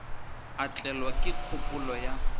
a tlelwa ke kgopolo ya